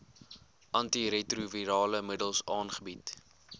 antiretrovirale middels aangebied